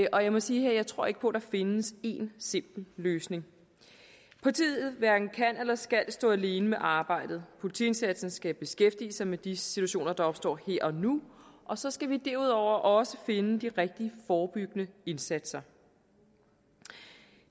og jeg må sige at jeg tror ikke på at der findes én simpel løsning politiet hverken kan eller skal stå alene med arbejdet politiindsatsen skal beskæftige sig med de situationer der opstår her og nu og så skal vi derudover også finde de rigtige forebyggende indsatser